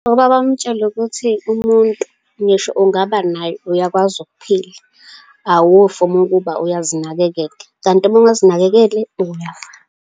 Ukuba bamutshele ukuthi umuntu, ngisho ungaba nayo, uyakwazi ukuphila. Awufi uma kuba uyazinakekela. Kanti uma ungazinakekeli, uyafa.